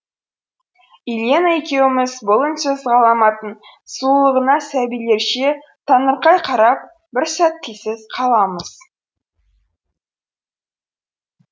илена екеуіміз бұл үнсіз ғаламаттың сұлулығына сәбилерше таңырқай қарап бір сәт тілсіз қаламыз